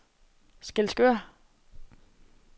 Skælskør